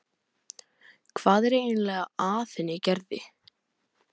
Hvað er eiginlega að henni Gerði.